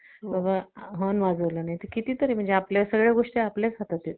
crome book laptop मध्ये crome या operating system च्या वापर केला जातो. crome OS हि कार्य प्रणाली